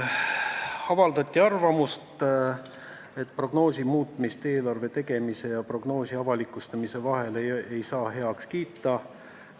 Avaldati arvamust, et prognoosi muutmist eelarve tegemise ja prognoosi avalikustamise vahel ei saa heaks kiita.